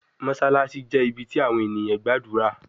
Mossalassi jẹ ibi ti awọn eniyan gbadura